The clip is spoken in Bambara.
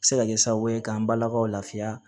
Se ka kɛ sababu ye k'an balakaw lafiya